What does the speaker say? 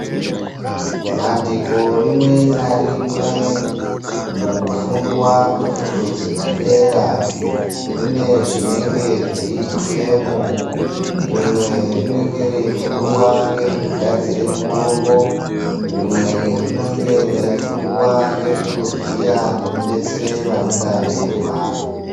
Bandiko rimwe na rimwe mukufundwa kwefundo dzepa dera rine zvinenge zveitwemo rimwe rinenge reifundwa ngezveku gadzire mitombo rimwe rinenge rei fundwa ngezve kuvhiya neku detsera vanenge veirwara.